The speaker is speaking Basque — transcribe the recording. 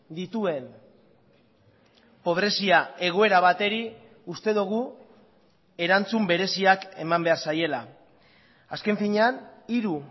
dituen pobrezia egoera bateri uste dugu erantzun bereziak eman behar zaiela azken finean hiru